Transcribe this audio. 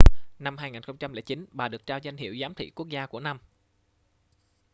năm 2009 bà được trao danh hiệu giám thị quốc gia của năm